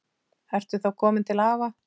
Ertu þá kominn til afa?